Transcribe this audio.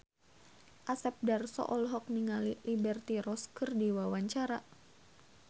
Asep Darso olohok ningali Liberty Ross keur diwawancara